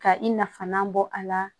Ka i nafalan bɔ a la